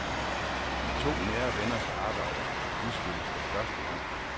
De to nære venners arbejder udstilles for første gang.